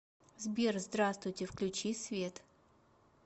сбер здравствуйте включи свет